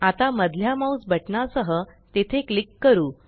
आता मधल्या माउस बटना सह तेथे क्लिक करू